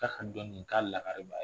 K'a dɔnni k'a lakari b'a